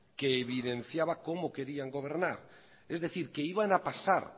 que evidenciaba cómo querían gobernar es decir que iban a pasar